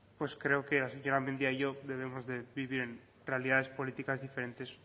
pues creo que la señora mendia y yo debemos de vivir en realidades políticas diferentes